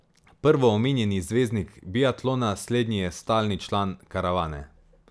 Prvoomenjeni zvezdniki biatlona, slednji je stalni član karavane.